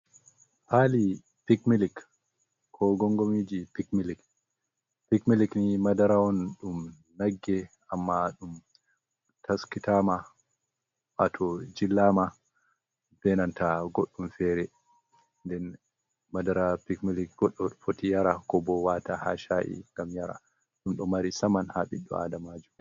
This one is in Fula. Kwali pik millk ko gongomji pik milik. Pik milik ni madara on ɗum nagge amma ɗum taskitama ato jillama be nanta godɗɗum fere nden madara pik milik goɗɗo foti yara ko bo wata ha sha’i ngam yara ɗum ɗo mari saman ha biɗɗo adamajo.